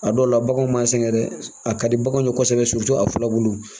A dɔw la baganw m'a sɛgɛn dɛ a ka di baganw ye kosɛbɛ a filabulu